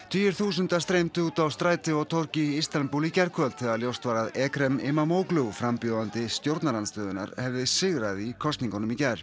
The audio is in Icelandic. tugir þúsunda streymdu út á stræti og torg í Istanbúl í gærkvöld þegar ljóst var að Ekrem Imamoglu frambjóðandi stjórnarandstöðunnar hefði sigrað í kosningunum í gær